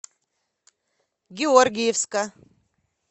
георгиевска